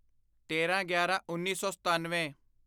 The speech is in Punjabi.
ਤੇਰਾਂਗਿਆਰਾਂਉੱਨੀ ਸੌ ਸਤਨਵੇਂ